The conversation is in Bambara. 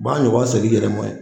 B'a ɲɔgɔn segin i yɛrɛ mɔ ye